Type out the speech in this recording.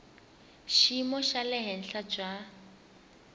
xiyimo xa le henhla bya